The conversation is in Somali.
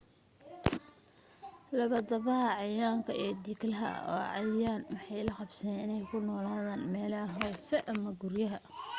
labadaba cayayaanka iyo dhiqlaha waa cayayaan waxayna la qabsadeen in ku noolaadaan meelaha hoose ama guryaha